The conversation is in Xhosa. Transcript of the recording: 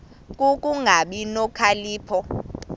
ku kungabi nokhalipho